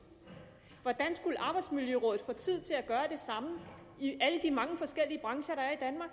hvordan skulle arbejdsmiljørådet få tid til at gøre det samme i alle de mange forskellige brancher der er